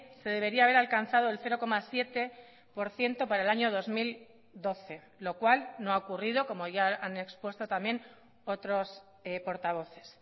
se debería haber alcanzado el cero coma siete por ciento para el año dos mil doce lo cual no ha ocurrido como ya han expuesto también otros portavoces